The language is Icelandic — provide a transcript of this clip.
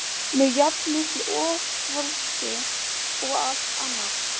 með jafn miklu offorsi og allt annað.